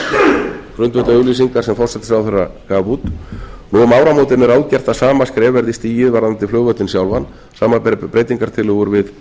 á grundvelli auglýsingar sem forsætisráðherra gaf út nú um áramótin er ráðgert að sama skref verið stigið varðandi flugvöllinn sjálfan samanber breytingartillögur við